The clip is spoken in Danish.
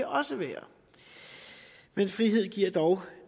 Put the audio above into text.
også være men frihed giver dog